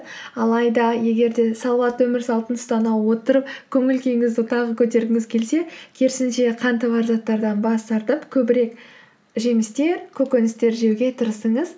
алайда егер де салауатты өмір салтын ұстана отырып көңіл күйіңізді тағы көтергіңіз келсе керісінше қанты бар заттардан бас тартып көбірек жемістер көкөністер жеуге тырысыңыз